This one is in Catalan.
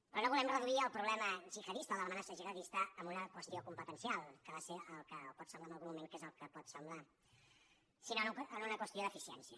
però no volem reduir el problema gihadista o de l’amenaça gihadista a una qüestió competencial que pot semblar en algun moment que és el que pot semblar sinó en una qüestió d’eficiència